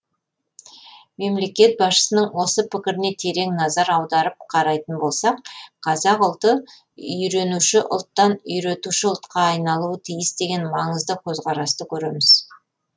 мемлекет басшысының осы пікіріне терең назар аударып қарайтын болсақ қазақ ұлты үйренуші ұлттан үйретуші ұлтқа айналуы тиіс деген маңызды көзқарасты көреміз